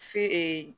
Fe